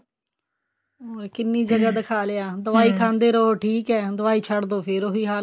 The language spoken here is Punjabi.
ਕਿੰਨੀ ਜਗ੍ਹਾ ਦਿਖਾ ਲਿਆ ਦਵਾਈ ਖਾਂਦੇ ਰਹੋ ਠੀਕ ਹੈ ਦਵਾਈ ਛੱਡ ਦੋ ਫੇਰ ਉਹੀ ਹਾਲ